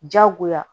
Diyagoya